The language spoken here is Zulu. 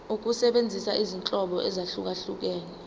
ukusebenzisa izinhlobo ezahlukehlukene